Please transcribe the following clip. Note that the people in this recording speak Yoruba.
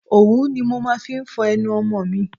Òwú ni mo máa ń fi ń fọ ẹnu ọmọ mi.